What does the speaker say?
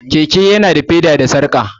Keke ya na da feda da sarƙa